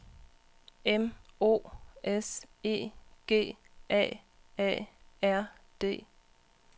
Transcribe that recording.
M O S E G A A R D